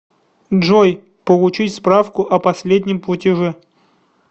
джой получить справку о последнем платеже